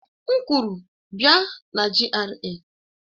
M kwuru, bia na GRA!